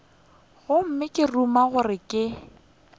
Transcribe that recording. gomme ka ruma gore ke